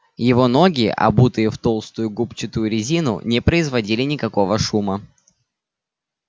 его ноги обутые в толстую губчатую резину не производили никакого шума